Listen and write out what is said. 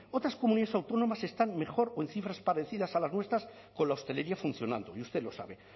otras comunidades autónomas están mejor o en cifras parecidas a las nuestras con la hostelería funcionando y usted lo sabe